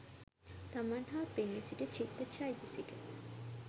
තමන් හා පෙනී සිටි චිත්ත චෛතසික